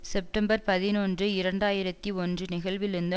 September பதினொன்று இரண்டு ஆயிரத்தி ஒன்று நிகழ்விலிருந்து